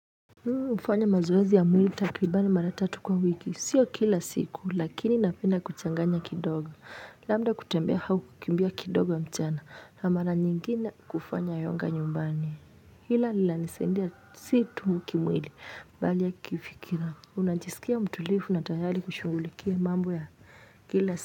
Mufanya mazoezhi ya mwili takribani mara tatu kwa wiki, sio kila siku lakini napenda kuchanganya kidogo, labda kutembea hau kukimbia kidogo mchana na mara nyingine kufanya yoga nyumbani, hila lina nisendia si tu kimwili bali ya kifikira, unajisikia mtulifu na tayari kushugulikia mambo ya kila siku.